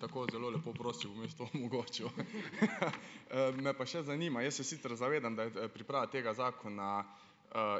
tako zelo lepo prosil, bom jaz to omogočil . Me pa še zanima. Jaz se sicer zavedam, da je, priprava tega zakona,